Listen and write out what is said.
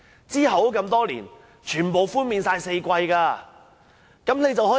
其後多年，政府均寬免4季全數差餉。